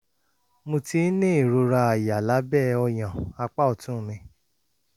mo ti ń ní ìrora àyà lábẹ́ ọyàn apá ọ̀tún mi